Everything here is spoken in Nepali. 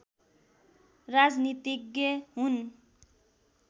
राजनीतिज्ञ हुन्